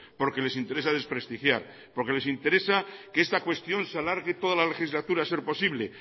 porque les interesa desprestigiar porque les interesa que esta cuestión se alargue toda la legislatura a ser posible